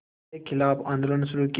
के ख़िलाफ़ आंदोलन शुरू किया